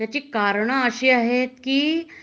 त्याची कारण अशी आहे की